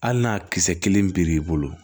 Hali n'a kisɛ kelen pere'i bolo